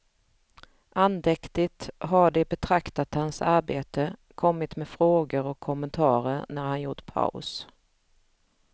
Andäktigt har de betraktat hans arbete, kommit med frågor och kommentarer när han gjort paus.